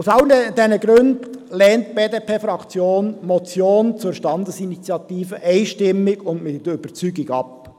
Aus all diesen Gründen lehnt die BDP-Fraktion die Motion zur Standesinitiative einstimmig und mit Überzeugung ab.